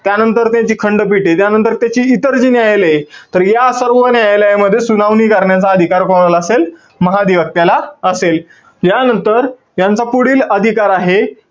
त्यानंतर त्यांची खंडपीठे, त्यानंतर त्याची इतर जी न्यायालये तर या सर्व न्यायालयामध्ये सुनावणी करण्याचा अधिकार कोणाला असेल? महाधिवक्त्याला असेल. यानंतर यांचा पुढील अधिकार आहे,